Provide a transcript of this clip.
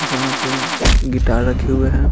जहां पे गिटार रखे हुए हैं।